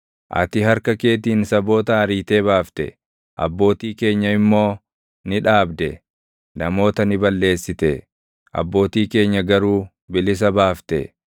Ati harka keetiin saboota ariitee baafte; abbootii keenya immoo ni dhaabde; namoota ni balleessite; abbootii keenya garuu bilisa baafte.